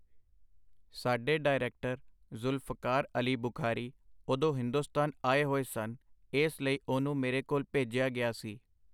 ਸਾਡੇ ਡਾਇਰੈਕਟਰ ਜ਼ੁਲਫਕਾਰ ਅਲੀ ਬੁਖਾਰੀ ਉਦੋਂ ਹਿੰਦੁਸਤਾਨ ਆਏ ਹੋਏ ਸਨ, ਏਸ ਲਈ ਉਹਨੂੰ ਮੇਰੇ ਕੋਲ ਭੇਜਿਆ ਗਿਆ ਸੀ.